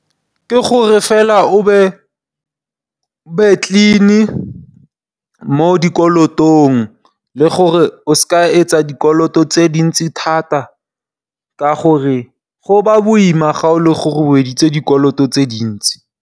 Ke gore fela o be clean mo dikolotong le gore o se ka etsa dikoloto tse dintsi thata ka gore go ba boima ga e le gore o editse dikoloto tse dintsi.